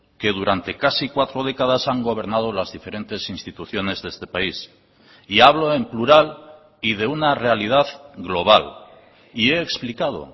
que durante casi cuatro décadas han gobernado las diferentes instituciones de este país y hablo en plural y de una realidad global y he explicado